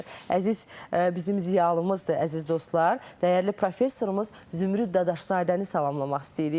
Əziz bizim ziyalımızdır, əziz dostlar, dəyərli professorumuz Zümrüd Dadaşzadəni salamlamaq istəyirik.